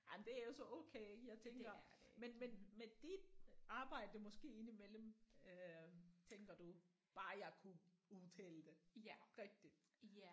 Jamen det er også okay jeg tænker men men men dit arbejde måske indimellem øh tænker du bare jeg kunne udtale det rigtigt